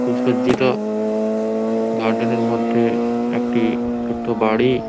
সুসজ্জিত গার্ডেন -এর মধ্যে একটি ছোট্ট বাড়ি।